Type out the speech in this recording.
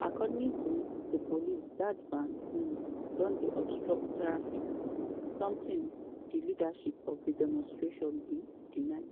according to di police dat van um don dey obstruct traffic - sometin di leadership of di demonstration bin deny.